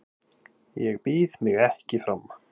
Ég býð mig ekki fram